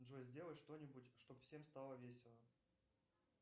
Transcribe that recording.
джой сделай что нибудь чтобы всем стало весело